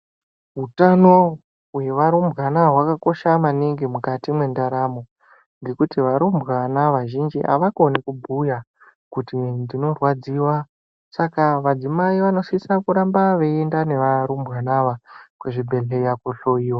Hutano hwevarumbwana hwakakosha maningi mukati mentaramo, nekuti varumbwana vazhinji havakoni kubhuya kuti ndinorwadziwa saka madzimai vano sise kuramba veyienda nevarumbwana ava kuzvibhedhleya kohloyiwa.